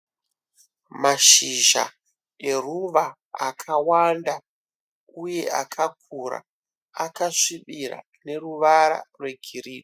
Mashizha eruva akawanda uye akakura akasvibira neruvara rwegirinhi.